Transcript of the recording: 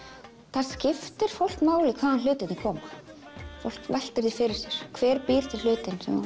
það skiptir fólk máli hvaðan hlutirnir koma fólk veltir því fyrir sér hver býr til hlutinn sem þú